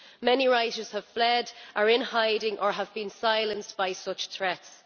Many writers have fled, are in hiding or have been silenced by such threats.